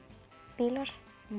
bílar